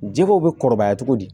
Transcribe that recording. Jɛgɛw bɛ kɔrɔbaya cogo di